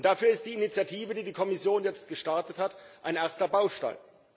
Dafür ist die Initiative, die die Kommission jetzt gestartet hat, ein erster Baustein.